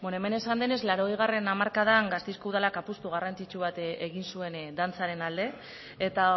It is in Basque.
beno hemen esan denez laurogeigarrena hamarkadan gasteizeko udalak apustu garrantzitsu bat egin zuen dantzaren alde eta